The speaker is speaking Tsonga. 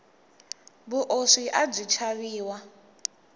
vuoswi abyi chaviwa